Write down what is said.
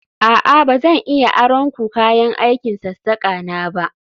A'a ba zan iya aron ku kayan aikin sassaka na ba